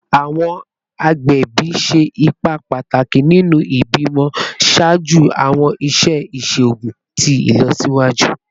Awọn agbẹbi ṣe ipa pataki ninu ibimọ ṣaaju awọn iṣẹ iṣoogun ti ilọsiwaju